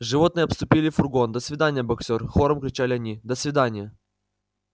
животные обступили фургон до свидания боксёр хором кричали они до свиданья